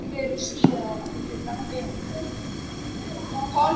Ég er aldeilis á leið í rúmið með henni núna.